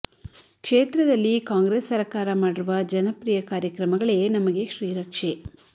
ಕ್ಷೇತ್ರದಲ್ಲಿ ಕಾಂಗ್ರೆಸ್ ಸರಕಾರ ಮಾಡಿರುವ ಜನಪ್ರೀಯ ಕಾರ್ಯಕ್ರಮಗಳೇ ನಮಗೆ ಶ್ರೀ ರಕ್ಷೆ